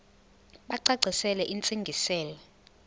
bacacisele intsi ngiselo